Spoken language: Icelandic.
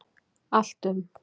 Allt um